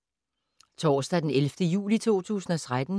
Torsdag d. 11. juli 2013